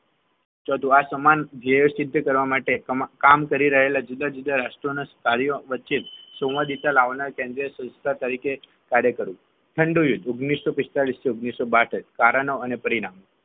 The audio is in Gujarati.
ચોથુ આસમાન જેસિદ્ધ કરવા માટે તમ કામ કરેલા જુદા જુદા રાષ્ટ્રના કાર્યના વચ્ચે સોમાજતા લાવનર કેન્દ્રીય સંસ્થા તરીકે કાર્ય કરવું ઠંડુ યુદ્ધ ઓગણીસો પિસ્તાળીસ થી ઓગણીસો બાસઠ કારણો અને પરિણામ